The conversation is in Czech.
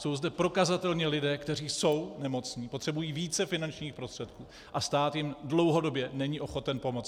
Jsou zde prokazatelně lidé, kteří jsou nemocní, potřebují více finančních prostředků a stát jim dlouhodobě není ochoten pomoct.